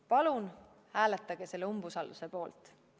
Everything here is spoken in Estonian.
Palun hääletage umbusalduse avaldamise poolt!